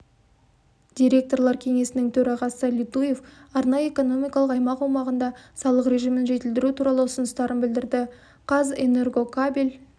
директорлар кеңесінің төрағасы литуев арнайы экономикалық аймақ аумағында салық режимін жетілдіру туралы ұсыныстарын білдірді қазэнергокабель